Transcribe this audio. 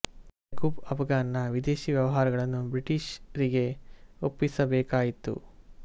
ಯಾಕುಬ್ ಆಫ್ಘಾನ್ ನ ವಿದೇಶೀ ವ್ಯವಹಾರಗಳನ್ನು ಬ್ರಿಟಿಶ್ ರಿಗೆ ಒಪ್ಪಿಸಬೇಕಾಯಿತು